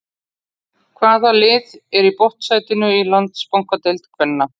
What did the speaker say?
Hvaða lið er í botnsætinu í Landsbankadeild kvenna?